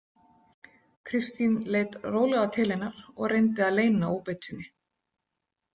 Kristín leit rólega til hennar og reyndi að leyna óbeit sinni.